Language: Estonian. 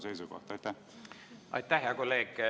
Aitäh, hea kolleeg!